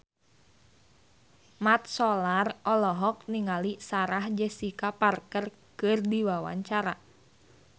Mat Solar olohok ningali Sarah Jessica Parker keur diwawancara